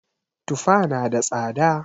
Tufa na da tsada